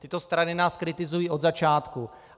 Tyto strany nás kritizují od začátku.